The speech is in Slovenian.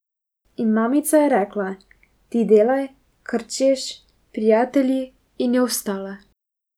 In mamica je rekla, ti delaj, kar češ, prijatelj, in je vstala.